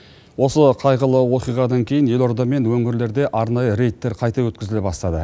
осы қайғылы оқиғадан кейін елорда мен өңірлерде арнайы рейдтер қайта өткізіле бастады